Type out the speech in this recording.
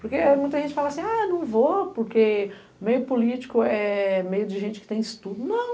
Porque muita gente fala assim, ah, não vou, porque meio político é meio de gente que tem estudo.